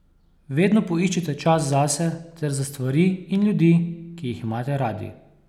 Vedno poiščite čas zase ter za stvari in ljudi, ki jih imate radi.